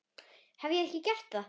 Hef ég ekki gert það?